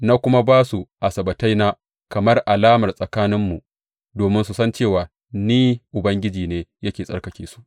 Na kuma ba su Asabbataina kamar alama tsakaninmu, domin su san cewa Ni Ubangiji ne yake tsarkake su.